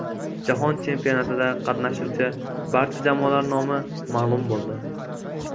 Jahon chempionatida qatnashuvchi barcha jamoalar nomi ma’lum bo‘ldi.